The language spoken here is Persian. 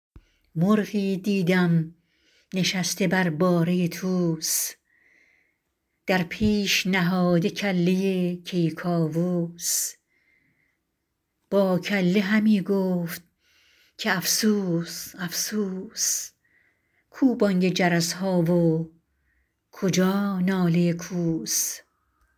مرغی دیدم نشسته بر باره طوس در پیش نهاده کله کیکاووس با کله همی گفت که افسوس افسوس کو بانگ جرس ها و کجا ناله کوس